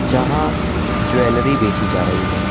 जहां ज्वेलरी बेची जा रही है।